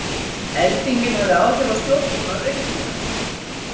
Eldingin hafði áhrif á stjórnbúnað virkjunar